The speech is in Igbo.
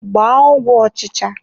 Gbaa ọgwụ ọchịcha!